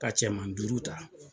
Ka cɛman duuru ta